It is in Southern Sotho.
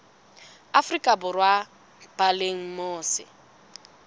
afrika borwa ba leng mose